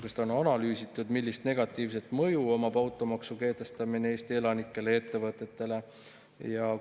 Kas seda on analüüsitud, millist negatiivset mõju avaldab automaksu kehtestamine Eesti elanikele ja ettevõtetele?